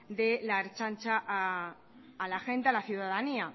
de la ertzaintza a la gente a la ciudadanía